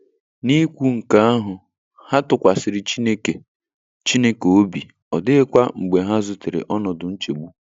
N'ikwu nke ahụ, ha tụkwasịrị Chineke Chineke obi, ọ dịghịkwa mgbe ha zutere ọnọdụ nchegbu.